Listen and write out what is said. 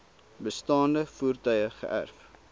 bestaande voertuie geërf